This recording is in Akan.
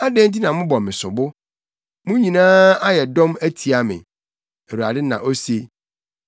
“Adɛn nti na mobɔ me sobo? Mo nyinaa ayɛ dɔm atia me,” Awurade na ose.